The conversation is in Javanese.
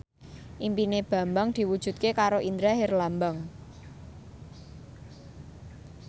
impine Bambang diwujudke karo Indra Herlambang